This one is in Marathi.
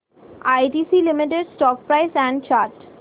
ITC limited stock price and chart